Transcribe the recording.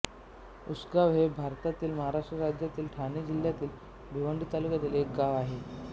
उसगाव हे भारतातील महाराष्ट्र राज्यातील ठाणे जिल्ह्यातील भिवंडी तालुक्यातील एक गाव आहे